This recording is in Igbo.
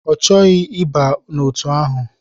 Ọ chọghị ịba n'otu ahụ.